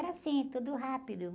Era assim, tudo rápido.